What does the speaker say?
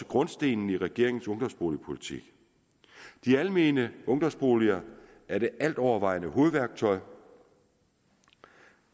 grundstenen i regeringens ungdomsboligpolitik de almene ungdomsboliger er det altovervejende hovedværktøj